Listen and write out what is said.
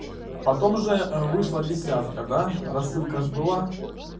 потом же ээ вышла десятка до рассылка же была